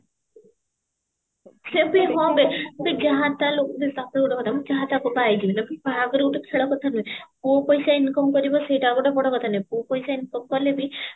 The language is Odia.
ହଁ ବେ ଆବେ ଯାହା ତା ଲୋକ ତୋତେ ଗୋଟେ କଥା କହିମି ଯାହା ତାହା କୁ ପାଇଲି ବାହାଘର ଗୋଟେ ଖେଳ କଥା ନୁହେଁ ପୁଅ ପଇସା income କରିବ ସେଇଟା ଗୋଟେ ବଡ କଥା ନୁହେଁ ପୁଅ ପଇସା income କଲେ ବି